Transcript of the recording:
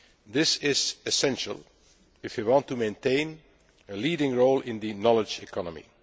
This is essential if we want to maintain a leading role in the knowledge economy'.